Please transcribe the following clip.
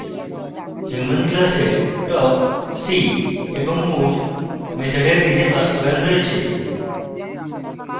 human class talk see এবং move মেথডের নিজের বাস্তবায়ন রয়েছে